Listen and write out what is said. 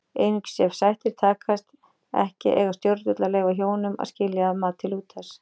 Einungis ef sættir takast ekki eiga stjórnvöld að leyfa hjónum að skilja að mati Lúthers.